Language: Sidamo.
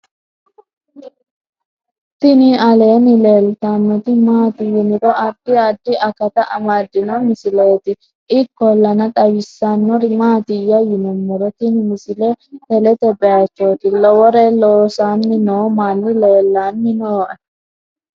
tini aleenni leeltannoti maati yiniro addi addi akata amaddino misileeti ikkollana xawissannori maatiyya yinummoro tini misile telete baychooti lowore loosanni noo manni leellanni nooe